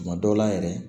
Tuma dɔw la yɛrɛ